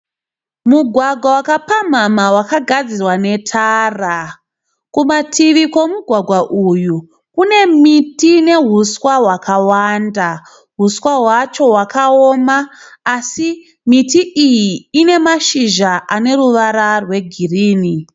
Mugwagwa wakapamhamha wakagadzirwa netara. Kumativi kwemugwagwa uyu kune miti nehuswa hwakawanda. Huswa hwacho hwakaoma asi miti iyi ine mashizha ane ruvara rwegirinhi.